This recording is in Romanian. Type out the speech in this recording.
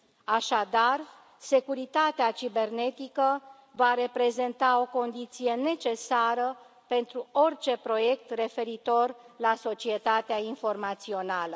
Așadar, securitatea cibernetică va reprezenta o condiție necesară pentru orice proiect referitor la societatea informațională.